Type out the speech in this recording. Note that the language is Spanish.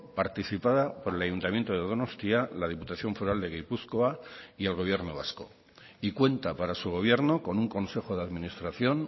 participada por al ayuntamiento de donostia la diputación foral de gipuzkoa y el gobierno vasco y cuenta para su gobierno con un consejo de administración